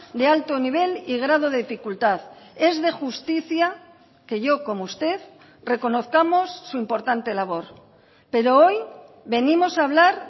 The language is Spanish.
de alto nivel y grado de dificultad es de justicia que yo como usted reconozcamos su importante labor pero hoy venimos a hablar